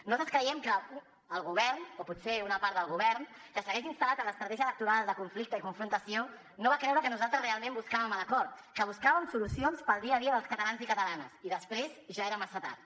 nosaltres creiem que el govern o potser una part del govern que segueix instal·lat en l’estratègia electoral de conflicte i confrontació no va creure que nosaltres realment buscàvem l’acord que buscàvem solucions per al dia a dia dels catalans i catalanes i després ja era massa tard